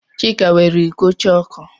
Chika weere iko chọọkụ.